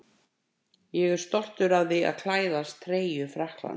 Ég er stoltur af því að klæðast treyju Frakklands.